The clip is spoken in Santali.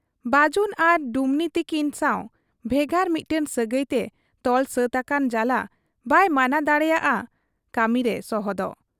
ᱵᱟᱹᱡᱩᱱ ᱟᱨ ᱰᱩᱢᱱᱤ ᱛᱤᱠᱤᱱ ᱥᱟᱶ ᱵᱷᱮᱜᱟᱨ ᱢᱤᱫᱴᱟᱹᱝ ᱥᱟᱹᱜᱟᱹᱭᱛᱮ ᱛᱚᱞ ᱥᱟᱹᱛ ᱟᱠᱟᱱ ᱡᱟᱞᱟ ᱵᱟᱭ ᱢᱟᱱᱟ ᱫᱟᱲᱮᱭᱟᱠᱟ ᱦᱟᱫ ᱟ ᱠᱟᱹᱢᱤᱨᱮ ᱥᱚᱦᱚᱫᱚᱜ ᱾